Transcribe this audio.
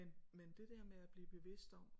Men men det der med at blive bevidst om